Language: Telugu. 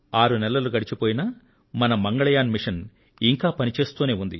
ఆరు నెలలు గడిచిపోయినా మన మంగళయాన్ మిషన్ ఇంకా పని చేస్తూనే ఉంది